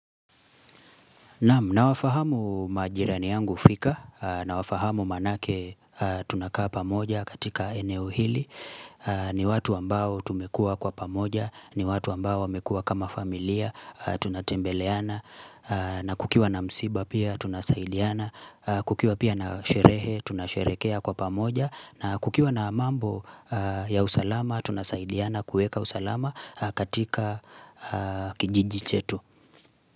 Naam nawafahamu majirani yangu fika, nawafahamu maanake tunakaa pamoja katika eneo hili, ni watu ambao tumekua kwa pamoja, ni watu ambao wamekua kama familia, tunatembeleana, na kukiwa na msiba pia tunasaidiana, kukiwa pia na sherehe tunasherehekea kwa pamoja, na kukiwa na mambo ya usalama tunasaidiana kueka usalama katika kijiji chetu.